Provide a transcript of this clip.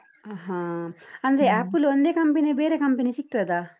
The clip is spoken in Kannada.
ಹಾ ಹಾ ಅಂದ್ರೆ apple ಒಂದೆ company ಯಾ ಬೇರೆ company ಸಿಕ್ತದಾ?